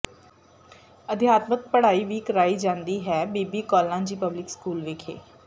ਅਧਿਆਤਮ ਪੜਾਈ ਵੀ ਕਰਾਈ ਜਾਦੀ ਹੈ ਬੀਬੀ ਕੌਲਾਂ ਜੀ ਪਬਲਿਕ ਸਕੂਲ ਵਿਖੇ